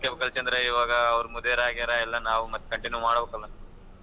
ಎಲ್ಲಾ ನೋಡ್ಕೋಬೇಕು ಅಲ್ಲಾ ಚಂದ್ರ ಇವಾಗ್ ಅವ್ರ ಮುದ್ಯಾರ್ ಆಗ್ಯರಾ ಎಲ್ಲ ನಾವ್ ಮತ್ತೇ continue ಮಾಡ್ಬೇಕು ಅಲ್ಲಾ.